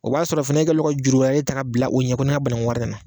O b'a sɔrɔ fana e kɛlen don ka juru wɛrɛ ta ka bila i ɲɛ ko sɔni bananku wari ka na